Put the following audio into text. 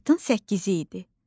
Martın 8-i idi.